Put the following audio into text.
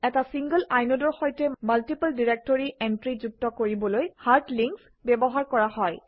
এটা single inode অৰ সৈতে মাল্টিপল ডিৰেক্টৰী এণ্ট্ৰি যুক্ত কৰিবলৈ হাৰ্ড লিংকচ ব্যৱহাৰ কৰা হয়